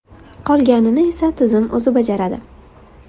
Qolganini esa tizim o‘zi bajaradi.